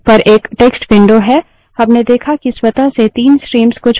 लेकिन अब graphical desktop पर एक text window है